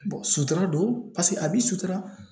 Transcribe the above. sutura don a bi sutura